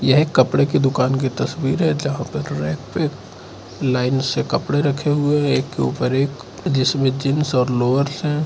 यह एक कपड़े की दुकान की तस्वीर है जहां पर रैक पे लाइन से कपड़े रखे हुए एक के ऊपर एक जिसमें जींस और लोअर्स हैं।